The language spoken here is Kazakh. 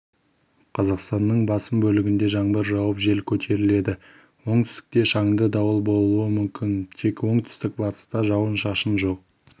қазақстанның басым бөлігінде жаңбыр жауып жел көтеріледі оңтүстікте шаңды дауыл болуы мүмкін тек оңтүстік-батыста жауын-шашын жоқ